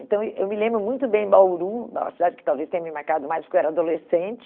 Então eu me lembro muito bem Bauru, uma cidade que talvez tenha me marcado mais porque eu era adolescente.